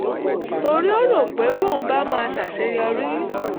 torí ó rò pé bóun bá máa ṣàṣeyọrí